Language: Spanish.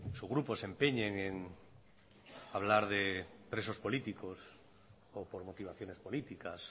su grupo se empeñen en hablar de presos políticos o por motivaciones políticas